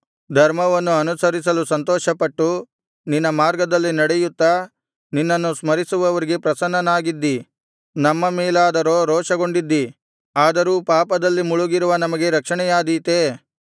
ಧರ್ಮವನ್ನು ಅನುಸರಿಸಲು ಸಂತೋಷಪಟ್ಟು ನಿನ್ನ ಮಾರ್ಗದಲ್ಲಿ ನಡೆಯುತ್ತಾ ನಿನ್ನನ್ನು ಸ್ಮರಿಸುವವರಿಗೆ ಪ್ರಸನ್ನನಾಗಿದ್ದಿ ನಮ್ಮ ಮೇಲಾದರೋ ರೋಷಗೊಂಡಿದ್ದಿ ಆದರೂ ಪಾಪದಲ್ಲಿ ಮುಳುಗಿರುವ ನಮಗೆ ರಕ್ಷಣೆಯಾದೀತೇ